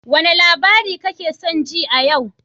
Wane labari kake son ji a yau?